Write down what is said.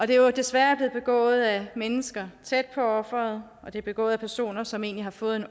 det er jo desværre blevet begået af mennesker tæt på offeret og det er begået af personer som egentlig har fået